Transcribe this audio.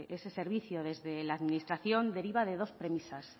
ese servicio desde la administración deriva de dos premisas